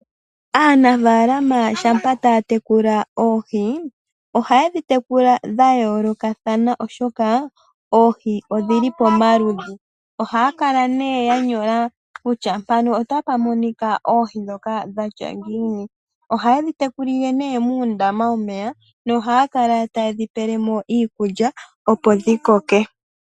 Aanafalama shampa taya tekula oohi ohaye dhi tekula dha yoolokathana, oshoka odhili pomaludhi. Ohaya kala nee ya nyola kutya mpano otapu monika oohi dhatya ngiini. Ohaye dhi tekulile muundama womeya nohaya kala taye dhi pele mo iikukya, opo dhi koke.